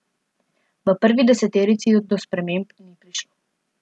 V prvi deseterici do sprememb ni prišlo.